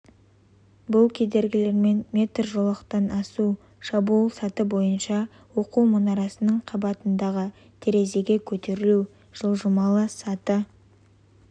бұл кедергілерімен метр жолақтан асу шабуыл саты бойынша оқу мұнарасының қабатындағы терезеге көтерілу жылжымалы саты